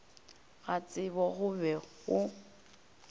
ga tsebo go be go